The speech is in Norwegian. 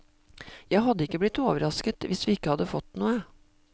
Jeg hadde ikke blitt overrasket hvis vi ikke hadde fått noe.